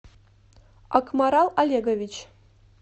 акмарал олегович